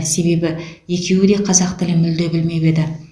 себебі екеуі де қазақ тілін мүлде білмеп еді